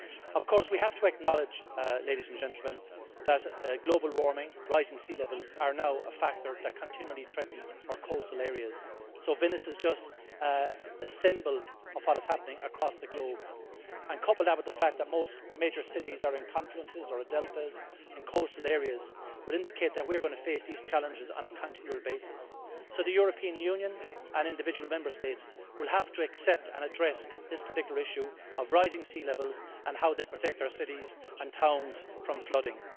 Of course, we have to acknowledge that global warming and rising sea levels are now a factor that continually threaten our coastal areas, so Venice is just a symbol of what is happening across the globe. Couple that with the fact that most major cities are in confluences or deltas and coastal areas would indicate that we're going to face these challenges on a continual basis. The European Union and individual Member States will have to accept and address this particular issue of rising sea levels and how they protect our cities and towns from flooding.